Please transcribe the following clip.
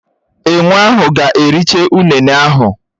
Enwé ahụ ga-ericha ụnene ahụ.